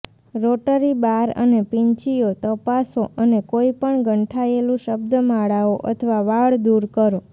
rotary bar અને પીંછીઓ તપાસો અને કોઈપણ ગંઠાયેલું શબ્દમાળાઓ અથવા વાળ દૂર કરો